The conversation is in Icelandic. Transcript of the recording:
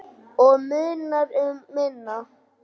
Og munar um minna!